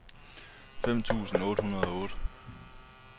femten tusind otte hundrede og otte